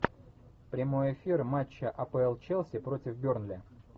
прямой эфир матча апл челси против бернли